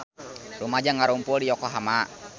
Rumaja ngarumpul di Yokohama